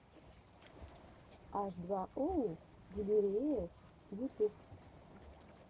аш два оу дилириэс ютуб